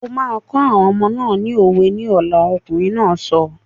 O máa kọ́ àwọn ọmọ náà ni òwe ní ọ̀la! Ọkùnrin náà sọ.